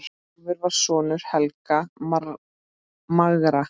Hrólfur var sonur Helga magra.